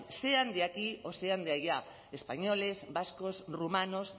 sean de aquí o sean de allá españoles vascos rumanos